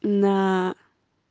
на